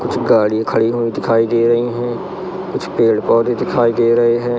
कुछ गाड़ी खड़ी हुई दिखाई दे रही है कुछ पेड़ पौधे दिखाई दे रहे हैं।